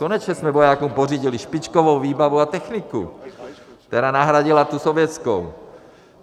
Konečně jsme vojákům pořídili špičkovou výbavu a techniku, která nahradila tu sovětskou.